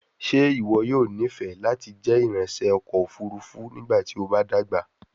Ṣe iwọ yoo nifẹ lati jẹ iranṣẹ ọkọ ofurufu nigbati o ba dagba?